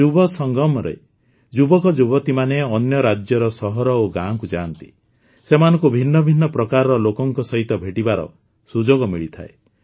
ଯୁବସଙ୍ଗମ ରେ ଯୁବକଯୁବତୀମାନେ ଅନ୍ୟ ରାଜ୍ୟର ସହର ଓ ଗାଁକୁ ଯାଆନ୍ତି ସେମାନଙ୍କୁ ଭିନ୍ନ ଭିନ୍ନ ପ୍ରକାରର ଲୋକଙ୍କ ସହିତ ଭେଟିବାର ସୁଯୋଗ ମିଳିଥାଏ